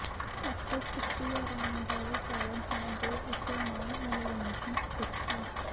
ਇੱਥੇ ਛੁੱਟੀ ਆਰਾਮ ਦਾ ਵੀ ਕਾਰਨ ਹੈ ਦੇ ਇਸੇ ਨਾਮ ਮਨੋਰੰਜਨ ਸਥਿਤ ਹੈ